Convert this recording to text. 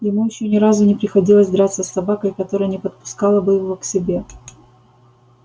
ему ещё ни разу не приходилось драться с собакой которая не подпускала бы его к себе